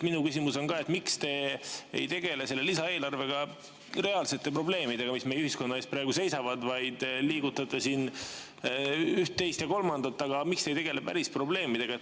Minu küsimus on: miks te ei tegele selle lisaeelarve abil reaalsete probleemidega, mis meie ühiskonna ees praegu seisavad, vaid liigutate üht, teist ja kolmandat, aga ei tegele päris probleemidega?